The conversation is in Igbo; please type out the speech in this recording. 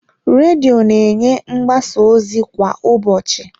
Redio na-enye mgbasa ozi kwa ụbọchị.